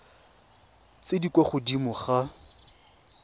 tse di kwa godimo ga